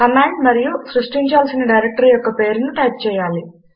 command మరియు సృష్టించాల్సిన directory యొక్క పేరును టైప్ చేయాలి